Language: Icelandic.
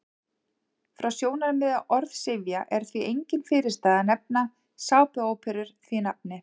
Frá sjónarmiði orðsifja er því engin fyrirstaða að nefna sápuóperur því nafni.